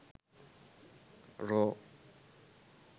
raw